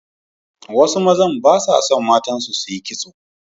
Wasu mazan ba sa son matansu su yi kitso.